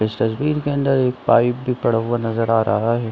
इस तस्वीर के अंदर एक पाइप भी पड़ा हुआ नजर आ रहा है।